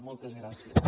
moltes gràcies